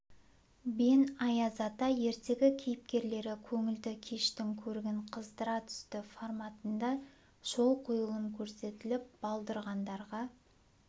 бен аяз ата ертегі кейіпкерлері көңілді кештің көрігін қыздыра түсті форматында шоу қойылым көрсетіліп балдырғандарға